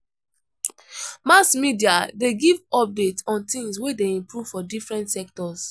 Mass media de give updates on things wey de improve for different sectors